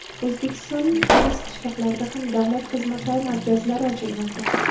O‘zbekistonning olis qishloqlarida ham davlat xizmatlari markazlari ochilmoqda.